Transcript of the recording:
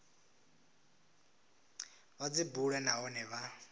vha dzi bule nahone vha